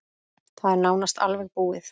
Það er nánast alveg búið.